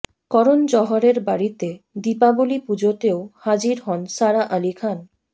করণ জহরের বাড়িতে দীপাবলি পুজোতেও হাজির হন সারা আলি খান